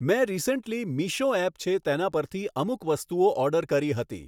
મેં recently Meesho app છે તેના પરથી અમુક વસ્તુઓ ઑર્ડર કરી હતી